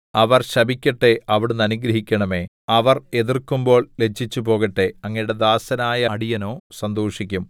അവർ ശപിക്കട്ടെ അവിടുന്ന് അനുഗ്രഹിക്കണമേ അവർ എതിർക്കുമ്പോൾ ലജ്ജിച്ചുപോകട്ടെ അങ്ങയുടെ ദാസനായ അടിയനോ സന്തോഷിക്കും